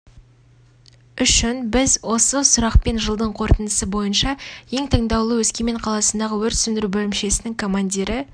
үшін біз осы сұрақпен жылдың қорытындысы бойынша ең таңдаулы өскемен қаласындағы өрт сөндіру бөлімшесінің командирі